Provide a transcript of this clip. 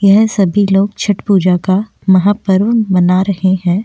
यह सभी लोग छठ पूजा का महापर्व मना रहे है।